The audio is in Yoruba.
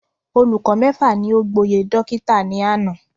Olùkọ mẹ́fà ni o gboyè dókítà ní àná